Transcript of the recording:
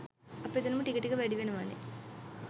අපේ දැනුම ටික ටික වැඩිවෙනවනේ.